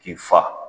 K'i fa